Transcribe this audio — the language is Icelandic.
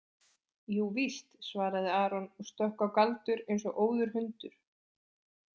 Jú víst, svaraði Aron og stökk á Galdur eins og óður hundur.